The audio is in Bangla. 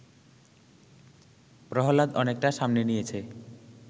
প্রহ্লাদ অনেকটা সামনে নিয়েছে